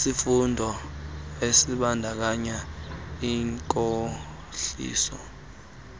sifundo esibandakanya inkohliso